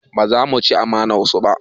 Ba za mu ci amanar su ba